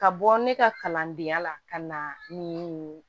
Ka bɔ ne ka kalandenya la ka na nin